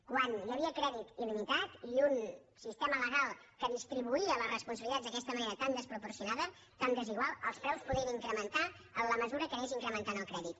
quan hi havia crèdit iltema legal que distribuïa les responsabilitats d’aquesta manera tan desproporcionada tan desigual els preus podien incrementar en la mesura que anés incrementant el crèdit